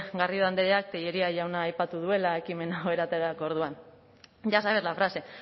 garrido andreak tellería jauna aipatu duela ekimen hau eramateko orduan ya sabe la frase